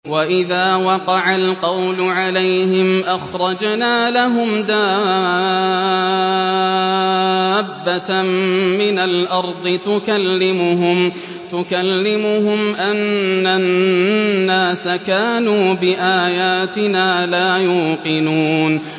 ۞ وَإِذَا وَقَعَ الْقَوْلُ عَلَيْهِمْ أَخْرَجْنَا لَهُمْ دَابَّةً مِّنَ الْأَرْضِ تُكَلِّمُهُمْ أَنَّ النَّاسَ كَانُوا بِآيَاتِنَا لَا يُوقِنُونَ